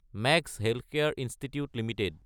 max healthcare institute Ltd